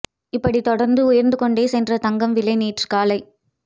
இப்படி தொடர்ந்து உயர்ந்து கொண்டே சென்ற தங்கம் விலை நேற்று காலை